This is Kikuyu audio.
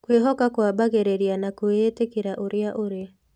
Kwĩhoka kwambagĩrĩria na gwĩĩtĩkĩra ũrĩa ũrĩ.